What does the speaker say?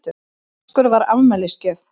Vaskur var afmælisgjöf.